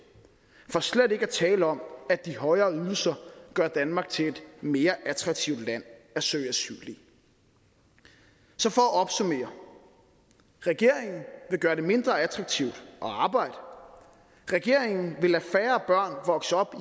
for slet ikke at tale om at de højere ydelser gør danmark til et mere attraktivt land at søge asyl i så for at opsummere regeringen vil gøre det mindre attraktivt at arbejde regeringen vil lade færre børn vokser op